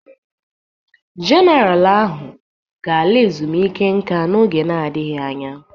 Jenaral ahụ ga-ala ezumike nka n'oge n'adịghị anya.